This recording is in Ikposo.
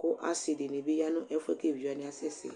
kʋ asi dini ya nʋ ɛfʋɛ kɔ ɛvidzɛ wani asɛ sɛ